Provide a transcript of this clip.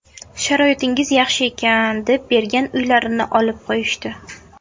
Sharoitingiz yaxshi ekan, deb bergan uylarini olib qo‘yishdi.